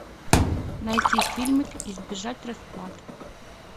найти фильм избежать расплаты